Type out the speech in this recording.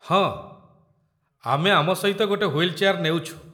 ହଁ, ଆମେ ଆମ ସହିତ ଗୋଟେ ହ୍ୱିଲ୍ ଚେୟାର ନେଉଛୁ।